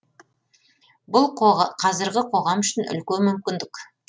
бұл қазіргі қоғам үшін үлкен мүмкіндік